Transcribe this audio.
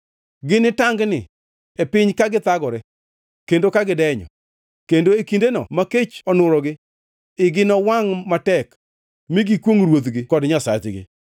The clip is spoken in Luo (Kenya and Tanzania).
Ginitangni e piny ka githagore kendo ka gidenyo, kendo e kindeno ma kech onurogi, igi nowangʼ matek mi gikwongʼ ruodhgi kod Nyasachgi.